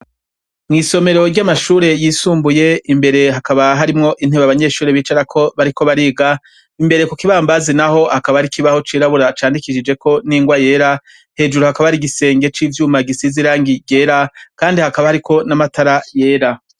Mw’isomero ry’amashure yisumbuye imbere imbere hakaba harimwo intebe bicarako bariko bariga , imbere kukibambazi naho hakaba hari ikibaho cirabura candikishijweko n’ingwa yera, hejuru hakaba har’igisenge c’ivyuma gisiz’irangi ryera Kandi hakaba hariko n’amatara yera.